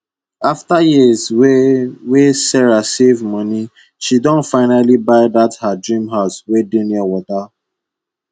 after years wey wey sarah save moni she don finally buy dat her dream house wey dey near wata